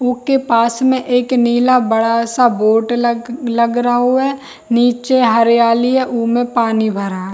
ऊ के पास में एक नीला बड़ा-सा बोर्ड लग लग रहु है नीचे हरियाली है ऊमे पानी भरा है।